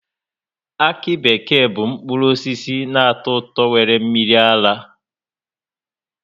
Akị bekee bụ mkpụrụ osisi na-atọ ụtọ nwere mmiri ara